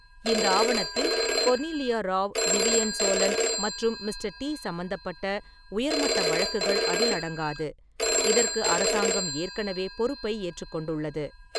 இந்த ஆவணத்தில் Cornelia Rao, Vivian Solon மற்றும் "மிஸ்டர் டி" சம்பந்தப்பட்ட உயர்மட்ட வழக்குகள் அதில் அடங்காது. இதற்கு அரசாங்கம் ஏற்கனவே பொறுப்பை ஏற்றுக்கொண்டுள்ளது.